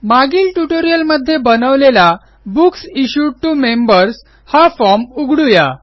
मागील ट्युटोरियलमध्ये बनवलेला बुक्स इश्यूड टीओ मेंबर्स हा फॉर्म उघडू या